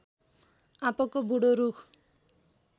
आँपको बूढो रूख